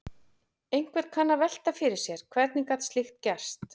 Einhver kann að velta fyrir sér: Hvernig gat slíkt gerst?